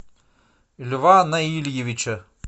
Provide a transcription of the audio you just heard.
льва наильевича